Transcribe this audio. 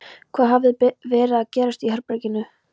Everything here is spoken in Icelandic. Hvað hafði verið að gerast í herberginu?